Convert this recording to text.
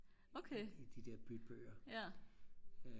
i de der bybøger